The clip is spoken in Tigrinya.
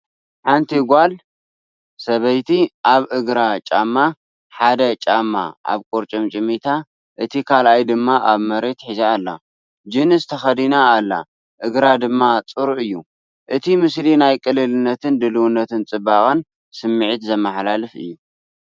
ሓንቲ ጓል/ሰበይቲ ኣብ እግራ ጫማ፡ ሓደ ጫማ ኣብ ቁርጭምጭሚታ እቲ ካልኣይ ድማ ኣብ መሬት ሒዛ ኣላ። ጂንስ ተኸዲና ኣላ እግራ ድማ ጽሩይ እዩ። እቲ ምስሊ ናይ ቅልልነትን ድልውነትን ፅባቐን ስምዒት የመሓላልፍ።